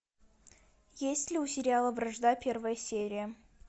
есть ли у сериала вражда первая серия